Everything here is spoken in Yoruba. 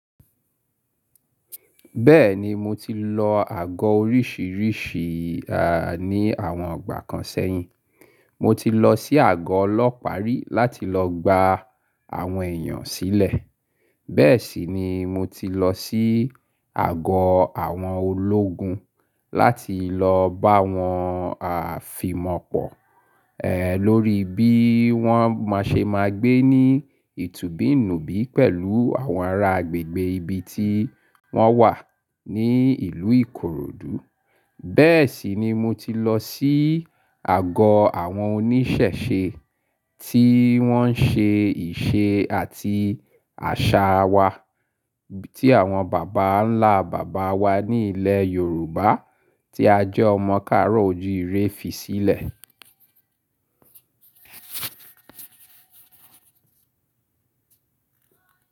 Bẹ́ẹ̀ni mo ti lọ àgọ oríṣìíríṣì ní àwọn ngbà kan sẹ́yìn. Mo ti lọ sí àgọ ọlọ́pàá ri láti lọ gba àwọn èèyàn sílẹ̀. Bẹ́ẹ̀ sì ni mo ti lọ sí àgọ àwọn ológun láti lọ bá wọn fìmọ̀pọ̀, ẹ lórí bí wọ́n máa ṣe máa gbé ní ìtúbí nùbí pẹ̀lú àwọn ará agbègbè ibi tí wọ́n wà ní ìlú Ìkòròdú. Bẹ́ẹ̀ sì ni mo ti lọ sí àgọ àwọn oníṣẹ̀ṣe tí wọ́n ń ṣe ìṣe àti àṣà wa tí àwọn bàbá ńlá bàbá wa ní ilẹ̀ Yorùbá tí a jẹ́ ọmọ káàró ojú ire fi sílẹ̀.